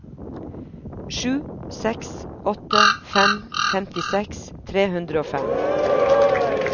sju seks åtte fem femtiseks tre hundre og fem